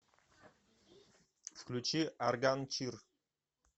включи арган чир